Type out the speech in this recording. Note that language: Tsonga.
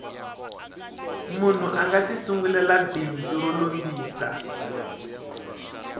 munhu anga ti sungulela bindzu ro lombisa